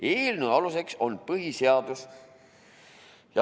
Eelnõu aluseks on põhiseadus.